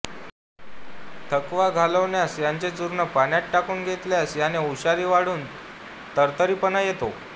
थकवा घालविण्यास याचे चूर्ण पाण्यात टाकून घेतल्यास याने हुशारी वाढून तरतरीतपणा येतो